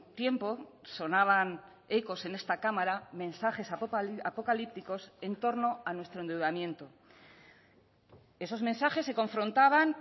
tiempo sonaban ecos en esta cámara mensajes apocalípticos en torno a nuestro endeudamiento esos mensajes se confrontaban